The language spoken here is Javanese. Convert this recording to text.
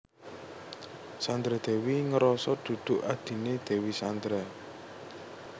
Sandra Dewi ngeroso duduk adhine Dewi Sandra